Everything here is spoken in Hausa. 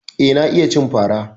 Eh, na iya cin fara.